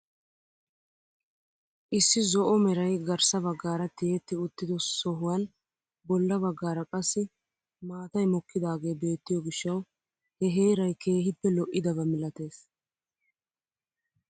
Issi zo'o meray garssa baggaara tiyetti uttido sohuwaan bolla baggaara qassi maatay mokkidaage beettiyoo giishshawu he heeray keehippe lo"idaba milatees.